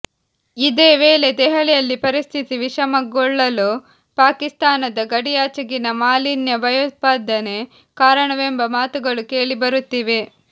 ಇದೇ ವೇಳೆ ದೆಹಲಿಯಲ್ಲಿ ಪರಿಸ್ಥಿತಿ ವಿಷಮಗೊಳ್ಳಲು ಪಾಕಿಸ್ತಾನದ ಗಡಿಯಾಚೆಗಿನ ಮಾಲಿನ್ಯ ಭಯೋತ್ಪಾದನೆ ಕಾರಣವೆಂಬ ಮಾತುಗಳು ಕೇಳಿಬರುತ್ತಿವೆ